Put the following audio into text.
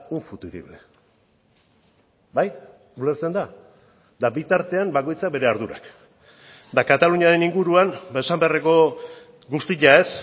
un futurible bai ulertzen da eta bitartean bakoitzak bere ardurak eta kataluniaren inguruan esan beharreko guztia ez